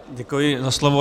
Děkuji za slovo.